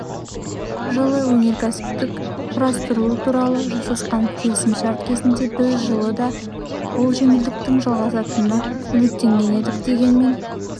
жылы өнеркәсіптік құрастыру туралы жасасқан келісімшарт кезінде біз жылы да бұл жеңілдіктің жалғасатынына үміттенген едік дегенмен